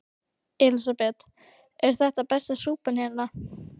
Elísabet: Er þetta besta súpan hérna?